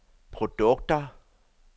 produkter